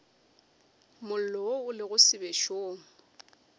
mollo wo o lego sebešong